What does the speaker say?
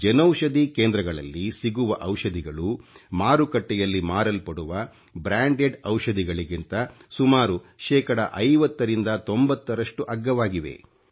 ಜನೌಷಧಿ ಕೇಂದ್ರಗಳಲ್ಲಿ ಸಿಗುವ ಔಷಧಿಗಳು ಮಾರುಕಟ್ಟೆಯಲ್ಲಿ ಮಾರಲ್ಪಡುವ bಡಿಚಿಟಿಜeಜ ಔಷಧಿಗಳಿಗಿಂತ ಸುಮಾರು ಶೇಕಡಾ 50 ರಿಂದ 90 ರಷ್ಟು ಅಗ್ಗವಾಗಿವೆ